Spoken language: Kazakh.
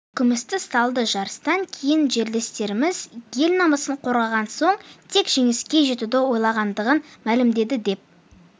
күмісті салды жарыстан кейін жерлестеріміз ел намысын қорғаған соң тек жеңіске жетуді ойлағандығын мәлімдеді деп